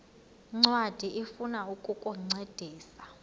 ncwadi ifuna ukukuncedisa